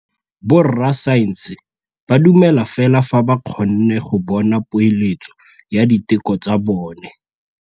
Borra saense ba dumela fela fa ba kgonne go bona poeletsô ya diteko tsa bone.